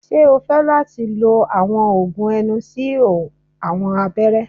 Ṣe o fẹ lati lo awọn oogun ẹnu si awọn abẹrẹ?